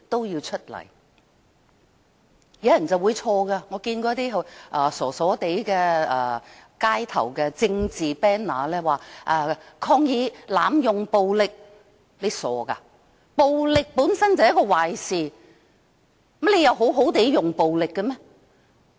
有些人搞錯了，我曾看到一些傻傻的街頭政治旗幟，寫着"抗議濫用暴力"，真傻，因為暴力本身便是一件壞事，難道可以好好地使用暴力嗎？